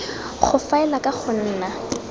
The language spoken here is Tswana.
go faela ka go nna